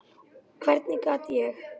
Hvernig gat ég.